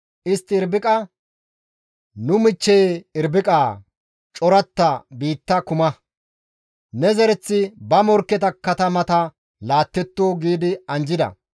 Istti Irbiqa, «Nu michcheye Irbiqaa! Coratta biitta kuma; ne zereththi ba morkketa katamata laattetto» gi anjjida.